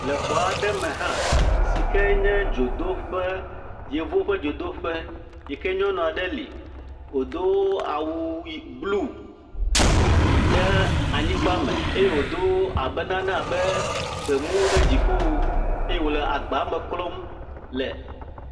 Le xɔ aɖeme hã si kee nye dzodoƒe. Yevuwo ƒe dzodoƒe yi ke nyɔnu aɖe li, wòdo awu yi, bluu ɖe anyigbame. Eye wòdo abe nane abe gbemu ɖe dziƒo. Eye wòle agbame klɔm le.